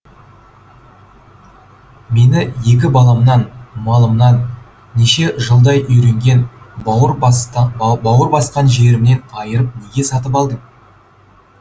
мені екі баламнан малымнан неше жылдай үйренген бауыр басқан жерімнен айырып неге сатып алдың